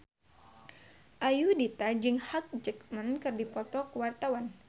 Ayudhita jeung Hugh Jackman keur dipoto ku wartawan